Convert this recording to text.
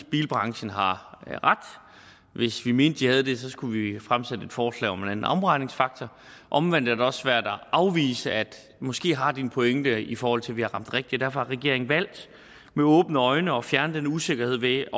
bilbranchen har ret hvis vi mente de havde det skulle vi fremsætte et forslag om en anden omregningsfaktor omvendt er det også svært at afvise at de måske har en pointe i forhold til om vi har ramt rigtigt derfor har regeringen med åbne øjne valgt at fjerne den usikkerhed ved